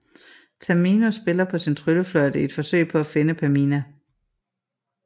Tamino spiller på sin tryllefløjte i et forsøg på at finde Pamina